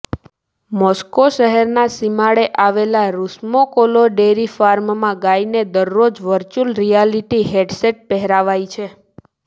Moscow શહેરના સીમાડે આવેલા રુસમોકોલો ડેરી ફાર્મમાં ગાયોને દરરોજ વર્ચ્યુઅલ રિયાલિટી હેડસેટ પહેરાવાય છે